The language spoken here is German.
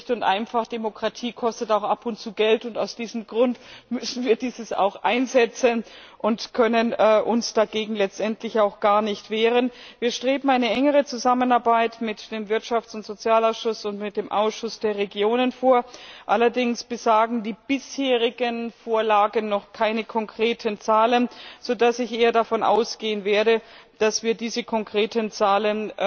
Schlicht und einfach Demokratie kostet auch ab und zu Geld, und aus diesem Grund müssen wir dieses auch einsetzen und können uns dagegen letztendlich auch gar nicht wehren. Wir streben eine engere Zusammenarbeit mit dem Wirtschafts und Sozialausschuss und mit dem Ausschuss der Regionen an, allerdings enthalten die bisherigen Vorlagen noch keine konkreten Zahlen, sodass ich eher davon ausgehen werde, dass wir diese konkreten Zahlen